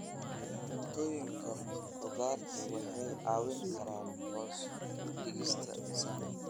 Cuntooyinka khudaarta waxay caawin karaan hoos u dhigista miisaanka.